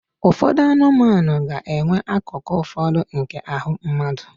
Ụfọdụ anụmanụ ga-enwe akụkụ ụfọdụ nke ahụ mmadụ